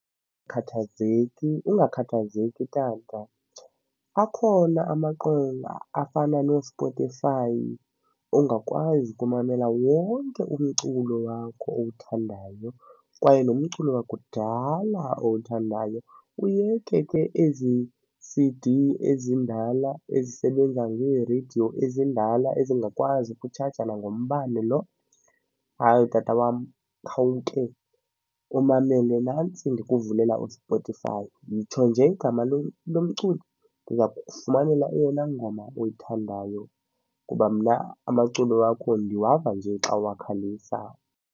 Ungakhathazeki, tata. Akhona amaqonga afana noSpotify ongakwazi ukumamela wonke umculo wakho owuthandayo kwaye nomculo wakudala owuthandayo, uyeke ke ezi C_D zindala ezisebenza ngeereyidiyo ezindala ezingakwazi ukutshaja nangombane lo. Hayi, tata wam, khawuke umamele nantsi ndikuvulela uSpotify, yitsho nje igama lomculi, ndiya kukufumanela eyona ngoma oyithandayo kuba mna amaculo wakho ndiwava nje xa uwakhalisa.